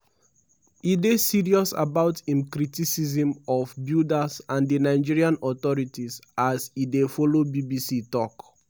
"our preliminary investigations indicate say dia fit be possible lack of adherence to building regulations."